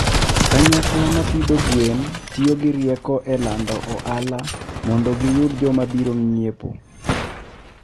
Kanyakla ma pidho gwen tiyo gi rieko e lando ohala mondo giyud joma biro ng'iepo.